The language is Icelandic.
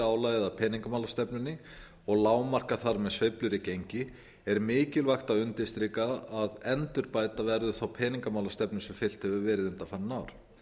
álagið f peningamálastefnunni og lágmarkar þar með sveiflur í gengi er mikilvægt að undirstrika að endurbæta verður þá peningamálastefnu sem fylgt hefur verið undanfarin ár